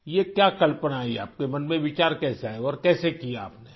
یہ کیا تصور آیا، آپ کے من میں خیال کیسے آیا اور کیسے کیا آپ نے؟